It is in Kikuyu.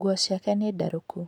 Nguo ciake nĩ ndarũku.